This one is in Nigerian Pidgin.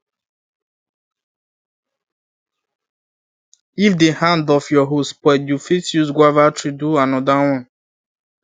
if the hand of your hoe spoil you fit use guava tree do another one